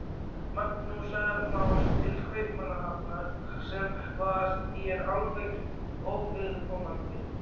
Magnúsar Más til Kaupmannahafnar, sem var þér alveg óviðkomandi.